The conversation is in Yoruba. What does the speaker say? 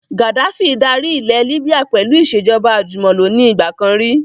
Gaddafi dárí ilẹ̀ Líbíà pẹ̀lú ìsèjọba àjùmọ̀lo ni ìgbàkan rí